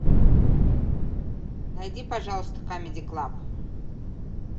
найди пожалуйста камеди клаб